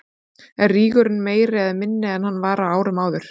Er rígurinn meiri eða minni en hann var á árum áður?